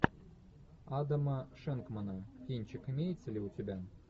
адама шенкмана кинчик имеется ли у тебя